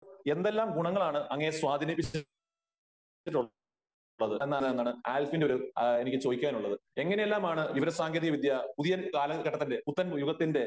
എന്തെല്ലാം ഗുണങ്ങളാണ് അങ്ങയെ സ്വാധീനിപ്പിച്ചത് എന്നാണ് എന്താണ് ആൽഫിന്റെ ഒരു ആ എനിക്ക് ചോദിക്കാനുള്ളത് ? എങ്ങനെയെല്ലാമാണ് വിവര സാങ്കേതിക വിദ്യ പുതിയ കാലഘട്ടത്തില് പുത്തൻ യുഗത്തിന്റെ